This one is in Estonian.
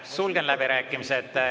Sulgen läbirääkimised.